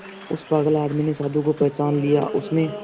उस पागल आदमी ने साधु को पहचान लिया उसने